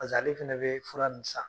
ale fana bɛ fura ninnu san